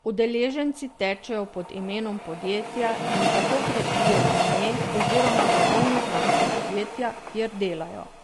Udeleženci tečejo pod imenom podjetja in tako krepijo ime oziroma blagovno znamko podjetja, kjer delajo.